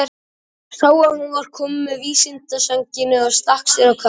Sá að hún var komin að vindsænginni og stakk sér á kaf.